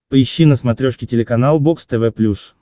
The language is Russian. поищи на смотрешке телеканал бокс тв плюс